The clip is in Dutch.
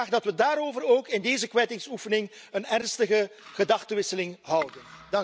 Ik vraag dat we daarover ook in deze kwijtingsoefening een ernstige gedachtewisseling houden.